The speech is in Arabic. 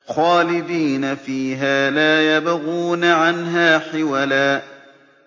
خَالِدِينَ فِيهَا لَا يَبْغُونَ عَنْهَا حِوَلًا